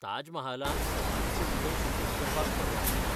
ताजमहालांत समाधीचे भितर शुटिंग करपाक परवानगी ना.